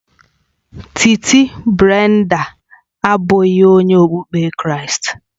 Titi Brenda abụghị onye okpukpe Kraịst